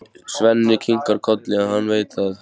Svenni kinkar kolli, hann veit það.